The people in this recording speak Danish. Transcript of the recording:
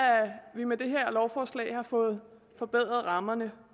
vi med det her lovforslag har fået forbedret rammerne